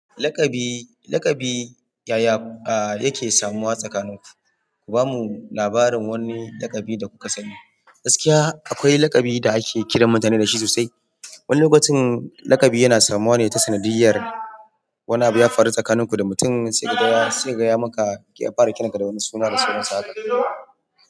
Laƙabi, laƙabi, yaya yake samuwa tsakaninku? Ku bamu labarin wani laƙabi da kuka sani. Gaskiya akwai lakabi da ake kiran mutum da shi sosai. Wani lokacin laƙabi yana samuwa ne ta sanadiyyar wani abu ya faru tsakanin ku da mutum sai kaga ya maka ya fara kiranka da wani suna da saurayinsa haka.